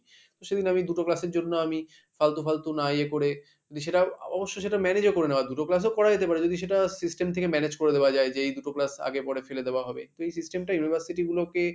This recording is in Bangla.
সেদিন আমি দুটো class এর জন্য আমি ফালতু ফালতু না ইয়ে করে সেটা অবশ্যই সেটা manage ও করে নেওয়ার দুটো class ও করা যেতে পারে যদি সেটা system থেকে manage করে দেওয়া যায় যে এই দুটো class আগে পরে ফেলে দেওয়া হবে তো এই system টা university গুলোকে